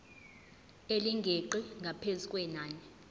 elingeqi ngaphezu kwenani